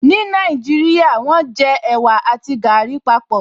Ní Nàìjíríà, wọ́n jẹ ẹ̀wà àti gàrí papọ̀